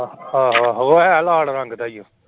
ਆਹੋ ਆਹੋ ਹੈ ਲਾਲ ਰੰਗ ਦਾ ਹੀ ਹੈ।